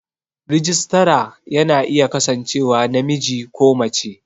Rajistara ya na iya kasancewa namiji ko mace